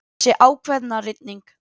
Þessi ákveðna rigning.